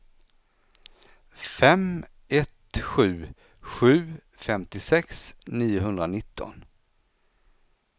fem ett sju sju femtiosex niohundranitton